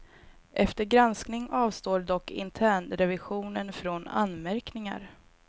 Efter granskning avstår dock internrevisionen från anmärkningar.